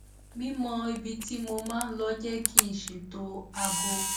mímọ ibi tí mo máa lọ jé kí n ṣètò aago